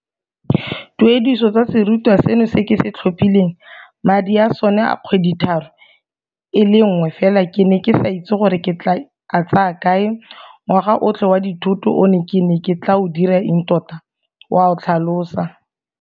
Dituediso tsa serutwa seno se ke se tlhophileng, madi a sone a kgwedithataro e le nngwe fela ke ne ke sa itse gore ke tla a tsaya kae, ngwaga otlhe wa dithuto one ke ne ke tla o dira eng tota, o a tlhalosa.